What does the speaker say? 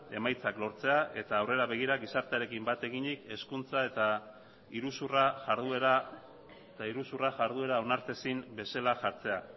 emaitzak lortzea eta aurrera begira gizartearekin bat eginik hezkuntza eta iruzurra jarduera onartezin bezala jartzea